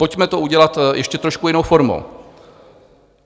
Pojďme to udělat ještě trošku jinou formou.